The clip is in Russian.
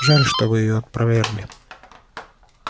жаль что вы её опровергли